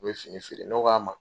U bɛ fini feere , ne k'a ma